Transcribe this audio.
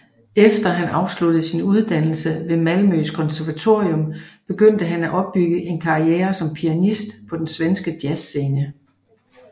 Efter han afsluttede sin uddannelse ved Malmøs konservatorium begyndte han at opbygge en karriere som pianist på den svenske jazzscene